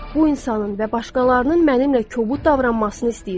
Bu insanın və başqalarının mənimlə kobud davranmasını istəyirəm.